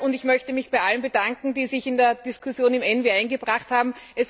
Ich möchte mich bei allen bedanken, die sich in die Diskussion eingebracht haben.